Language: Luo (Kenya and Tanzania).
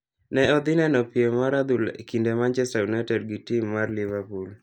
Ne odhi neno piem mar adhula e kind manchester unite gi tim mar LiverPool.